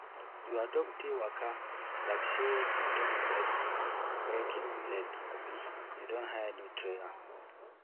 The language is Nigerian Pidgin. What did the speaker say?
your dog dey waka like say im don break break im leg abi you don hire new trainer